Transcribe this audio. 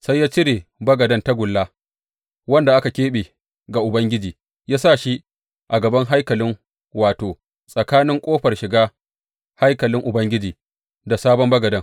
Sai ya cire bagaden tagulla wanda aka keɓe ga Ubangiji, ya sa shi a gaban haikalin wato, tsakanin ƙofar shiga haikalin Ubangiji da sabon bagaden.